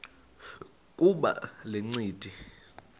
kuba le ncindi